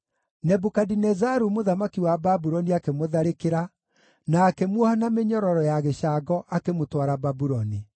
Nebukadinezaru mũthamaki wa Babuloni akĩmũtharĩkĩra, na akĩmuoha na mĩnyororo ya gĩcango akĩmũtwara Babuloni.